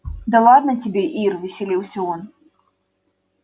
да ладно тебе ир веселился он